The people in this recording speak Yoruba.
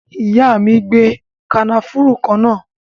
Ìyá mi ń gbe kànáfùrú kana